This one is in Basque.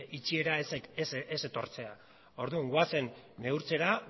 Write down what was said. itxiera ez etortzea orduan goazen neurtzera